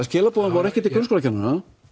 skilaboðin voru ekki til grunnskólakennara